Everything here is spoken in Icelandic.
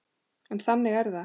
En þannig er það.